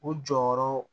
U jɔyɔrɔ